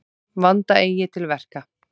Vanda eigi til verka.